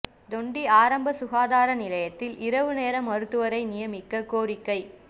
தொண்டி ஆரம்ப சுகாதார நிலையத்தில் இரவு நேர மருத்துவரை நியமிக்க கோரிக்கை